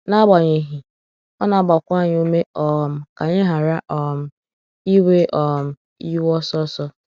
n'agbanyeghi, ọ na - agbakwa anyị ume um ka anyị ghara ‘ um iwe um iwe ọsọ ọsọ. ’